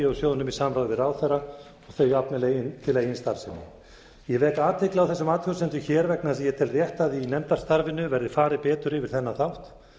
úr sjóðnum í samráði við ráðherra þau jafnvel til eigin starfsemi ég vek athygli á þessum athugasemdum hér vegna þess að ég tel rétt að í nefndarstarfinu verði farið betur yfir þennan þátt